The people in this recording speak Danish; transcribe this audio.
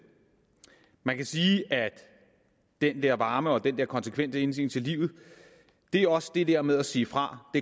man kan sige at den der varme og den der konsekvente indstilling til livet det er også det der med at sige fra